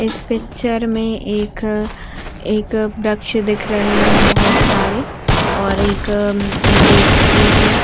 इस पिक्चर में एक एक वृक्ष दिख रहे हैं बहोत सारे और एक जेसीबी --